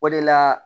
O de la